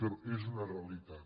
però és una realitat